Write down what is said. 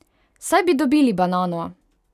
Saj bi dobili banano!